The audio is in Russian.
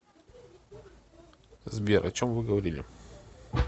сбер о чем вы говорили